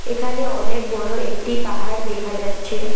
এখানে অনেক বড়ো একটি পাহাড় দেখা যাচ্ছে।